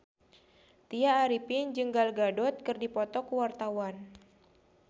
Tya Arifin jeung Gal Gadot keur dipoto ku wartawan